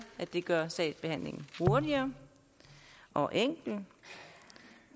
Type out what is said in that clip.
gør sagsbehandlingen hurtigere og enkel